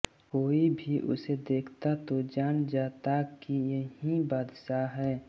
कोई भी उसे देखता तो जान जाता कि यही बादशाह है